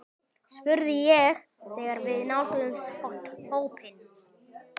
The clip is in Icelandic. spurði ég þegar við nálguðumst hópinn.